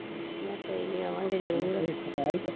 ਮੈਂ ਕਿਹਾ ਕੋਈ ਨੀ ਆਵਾਂਗੇ ਜਰੂਰ